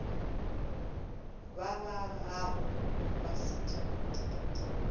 ba ba gago ba sedimo